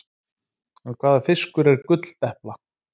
En hvaða fiskur er gulldepla?